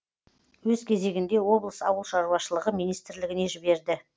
өз кезегінде облыс ауылшаруашылығы министрлігіне жіберді